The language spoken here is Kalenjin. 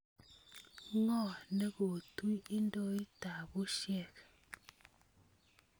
Ngo nekotui idoit tab bushek.